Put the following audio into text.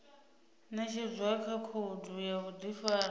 ṅetshedzwa kha khoudu ya vhuḓifari